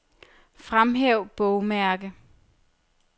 Fremhæv bogmærke.